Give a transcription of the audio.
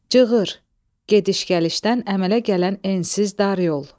Cığır, gediş-gəlişdən əmələ gələn ensiz dar yol.